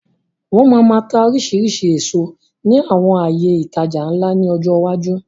Wọn máa máa tá oríṣiríṣi èso ní àwọn àyè ìtajà ńlá ni ọjọ́ iwájú.